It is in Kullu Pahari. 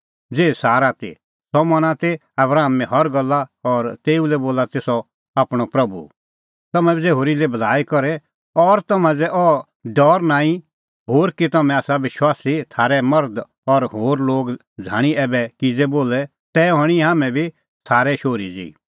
ज़ेही सारा ती सह मना ती आबरामे हर गल्ला और तेऊ लै बोला ती सह आपणअ प्रभू तम्हैं बी ज़ै होरी लै भलाई करे और तम्हां ज़ै अह डौर नांईं होर कि तम्हैं आसा विश्वासी थारै मर्ध और होर लोग झ़ाणीं ऐबै किज़ै बोले तै हणीं तम्हैं बी सारे शोहरी ज़ेही